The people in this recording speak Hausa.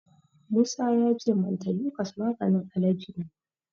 Musa ya ce mantelukas maganin alaji ne.